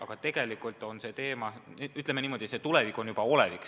Aga tegelikult on see teema, ütleme niimoodi, see tulevik juba olevik.